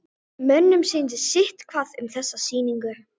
Mönnum sýndist sitthvað um þessa sýningu.